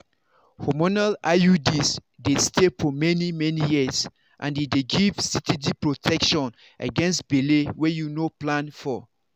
hormonal iuds dey stay for many-many years and e dey give steady protection against belle wey you no plan for.